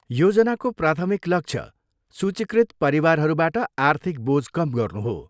योजनाको प्राथमिक लक्ष्य सूचीकृत परिवारहरूबाट आर्थिक बोझ कम गर्नु हो।